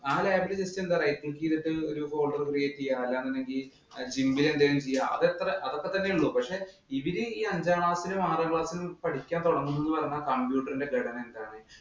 lab ഇലെ system ഒരു folder create ചെയ്യുക. അല്ലാ എന്നുണ്ടെങ്കി gimp ഇല്‍ എന്തെങ്കിലും ചെയ്യുക. അതെത്ര അതൊക്കെ തന്നെ ഉള്ളൂ. പക്ഷെ ഇവര് ഈ അഞ്ചാം class ഇലും ആറാം class ഇലും പഠിക്കാന്‍ തുടങ്ങുന്നത് എന്ന് പറഞ്ഞാല്‍ computer ഇന്‍റെ ഘടന എന്താണ്?